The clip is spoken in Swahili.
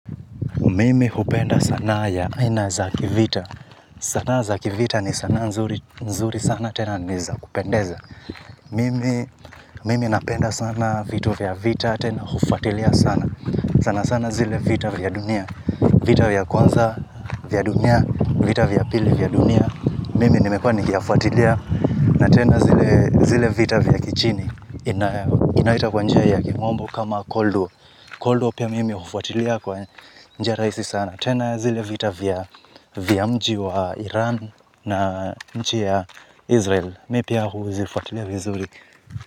Mimi hupenda sanaa ya aina za kivita. Sanaa za kivita ni sanaa nzuri sana tena niza kupendeza. Mimi napenda sana vitu vya vita tena hufatilia sana. Sanasana zile vita vya dunia. Vita vya kwanza vya dunia, vita vya pili vya dunia. Mimi nimekuwa nikiyafuatilia na tena zile vita vya kichini. Inaitwa kwa njia ya kimombo kama 'cold war'. 'Cold war' pia mimi hufuatilia kwa njia rahisi sana. Tena zile vita vya mji wa Iran na nchi ya Israel Mimi pia huzifuatilia vizuri.